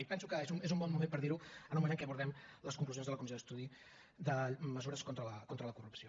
i penso que és un bon moment per dirho en el moment en què abordem les conclusions de la comissió d’estudi de mesures contra la corrupció